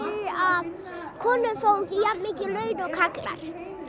að konur fá ekki jafnmikil laun og karlar